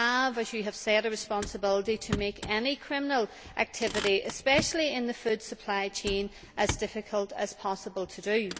We have, as you have said, a responsibility to make any criminal activity especially in the food supply chain as difficult as possible to do.